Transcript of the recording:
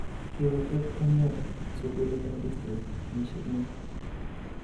Kigotep en yoton sugulit en district kenyishek muut